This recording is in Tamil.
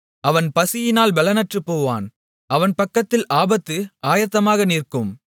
அவன் பசியினால் பெலனற்றுப்போவான் அவன் பக்கத்தில் ஆபத்து ஆயத்தமாக நிற்கும்